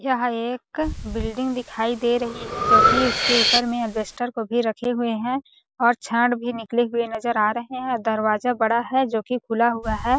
यह एक बिल्डिंग दिखाई दे रही है जो की इसके ऊपर में अलबेस्टर को भी रखे हुए है और छड़ भी निकले हुए नज़र आ रहे है और दरवाजा बड़ा है जो की खुला हुआ है।